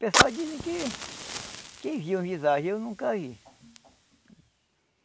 Pessoal dizem que... que viam visagem, eu nunca vi.